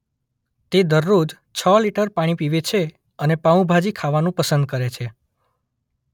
તે દરરોજ છ લિટર પાણી પીવે છે અને પાઉં ભાજી ખાવાનું પસંદ કરે છે.